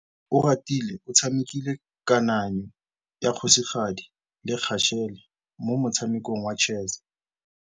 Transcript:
Oratile o tshamekile kananyô ya kgosigadi le khasêlê mo motshamekong wa chess.